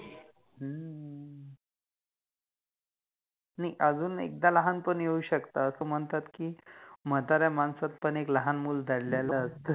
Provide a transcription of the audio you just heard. अजुन एकदा लहानपण येउ शकते अस मनतात कि म्हातार्या माणसात पण एक लहान मुल दडलेल असत